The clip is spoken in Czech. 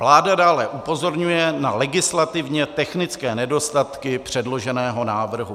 Vláda dále upozorňuje na legislativně technické nedostatky předloženého návrhu.